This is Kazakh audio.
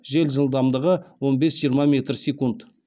жел жылдамдығы он бес жиырма метр секунд